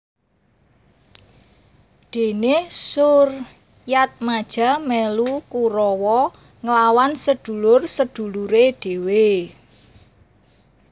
Dene Suryatmaja melu Kurawa nglawan sedulur sedulure dhewe